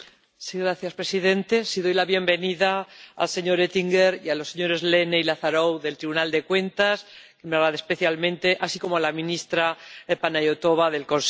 Señor presidente, doy la bienvenida al señor Oettinger y a los señores Lehne y Lazarou del Tribunal de Cuentas, muy especialmente, así como a la ministra Panayotova del Consejo.